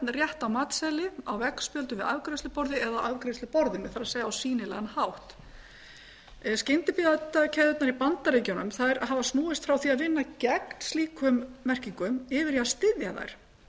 á matseðli á veggstöndum við afgreiðsluborð eða afgreiðsluborðinu það er á sýnilegan hátt skyndibitakeðjurnar í bandaríkjunum hafa snúist frá því að vinna gegn slíkum merkingum yfir í að styðja þær